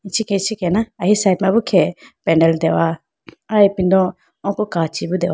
ichikhi ichikhi na ahi side ma b khe pendal deho ai ipindo oko kachi bo deho.